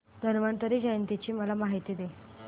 धन्वंतरी जयंती ची मला माहिती दे